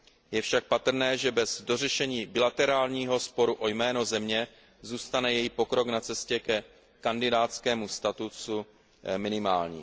Je však patrné, že bez dořešení bilaterálního sporu o jméno země zůstane její pokrok na cestě ke kandidátskému statusu minimální.